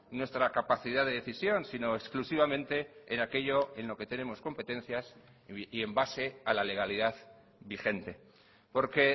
nuestra capacidad de decisión sino exclusivamente en aquello en lo que tenemos competencias y en base a la legalidad vigente porque